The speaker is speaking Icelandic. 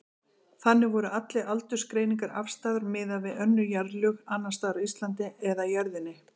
Þannig voru allar aldursgreiningar afstæðar miðað við önnur jarðlög, annars staðar á Íslandi eða jörðinni.